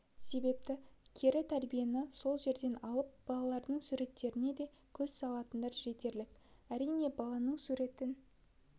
себепті кері тәрбиені сол жерден алып балалардың суреттеріне де көз салатындар жетерлік әрине баласының суретін